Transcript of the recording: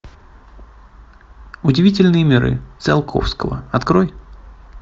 удивительные миры циолковского открой